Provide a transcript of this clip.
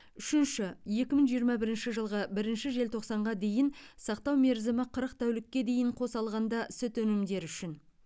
үшінші екі мың жиырма бірінші жылғы бірінші желтоқсанға дейін сақтау мерзімі қырық тәулікке дейін қоса алғанда сүт өнімдері үшін